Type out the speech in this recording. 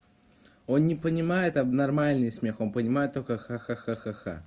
он не понимает там нормальный смех он понимает только ха ха ха ха ха